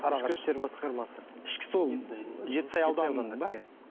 сарыағаш ішкі істер басқармасы ішкі сол жетісай ауданының ба